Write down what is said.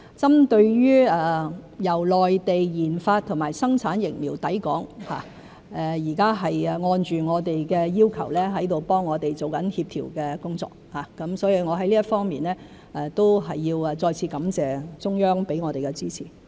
針對由內地研發和生產疫苗抵港一事，現時是正按着我們的要求替我們做協調的工作，我在這方面都要再次感謝中央給予我們的支持。